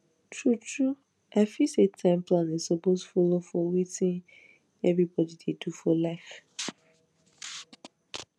truetrue i feel say time planning suppose follow for wetin everybody dey do for life